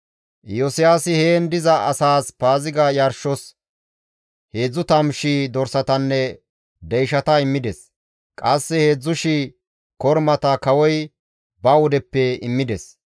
Iyosiyaasi heen diza asaas Paaziga yarshos 30,000 dorsatanne deyshata immides; qasse 3,000 kormata kawoy ba wudeppe immides.